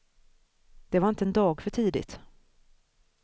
Det var inte en dag för tidigt.